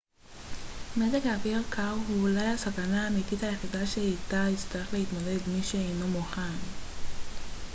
מזג אוויר קר הוא אולי הסכנה האמתית היחידה שאיתה יצטרך להתמודד מי שאינו מוכן